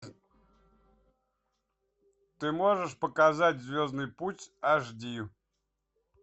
ты можешь показать звездный путь аш ди